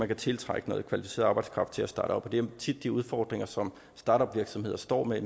kan tiltrække noget kvalificeret arbejdskraft til at starte op med det er tit de udfordringer som startup virksomheder står med